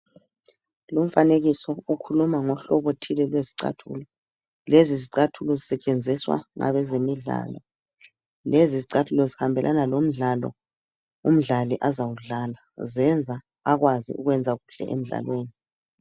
Lumfanekiso ukhuluma ngohlobo thile lwezicathulo. Lezizicathulo zisetshenziswa ngabe zemidlalo lezi zicathulo zihambelana lomdlalo umdlali azawudlala zenza akwazi ukwenza kuhle emdlalweni .